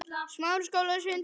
BAUJA: En hvar er Lárus?